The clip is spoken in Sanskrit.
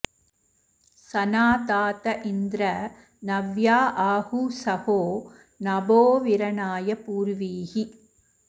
सना ता त इन्द्र नव्या आगुः सहो नभोऽविरणाय पूर्वीः